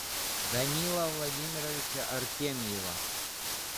данила владимировича артемьева